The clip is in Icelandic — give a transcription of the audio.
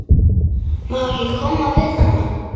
Má ekki koma við hann?